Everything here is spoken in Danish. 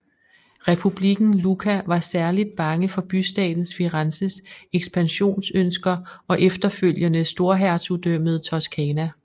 Republikken Lucca var særligt bange for bystaten Firenzes ekspansionønsker og efterfølgende Storhertugdømmet Toscana